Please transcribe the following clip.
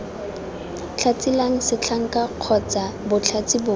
tlhatsilang setlankana kgotsa botlhatsi bongwe